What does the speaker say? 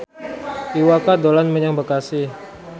Iwa K dolan menyang Bekasi